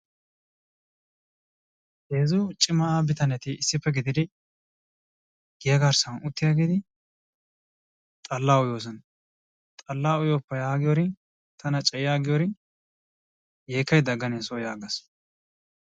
Heezzu cimaa bitaneei issippe gididi giya garssan uttiyaageeti xallaa uyyoosona, xallaa uyyoppa yaagiyoorin tana cayti aggiyoorin yeekkaydda aganne soo yaagas.